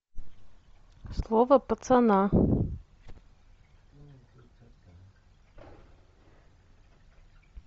слово пацана